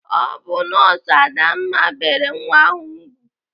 Ọ bụ nọọsụ Adanna bere nwa ahụ ùgwù.